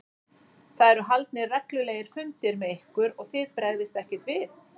Það eru haldnir reglulegir fundir með ykkur og þið bregðist ekkert við?